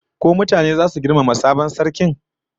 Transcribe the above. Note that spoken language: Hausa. Ko mutane zasu girmama sabon sarkin?